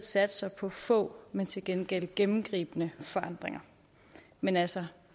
satser på få men til gengæld gennemgribende forandringer men altså